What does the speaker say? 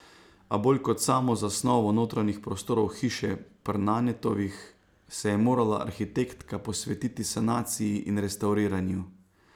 A bolj kot s samo zasnovo notranjih prostorov hiše Pr Nanetovh, se je morala arhitektka posvetiti sanaciji in restavriranju.